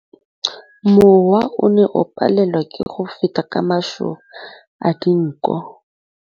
Mowa o ne o palelwa ke go feta ka masoba a dinko.